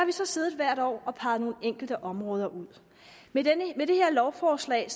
vi så siddet hvert år og peget nogle enkelte områder ud med det her lovforslag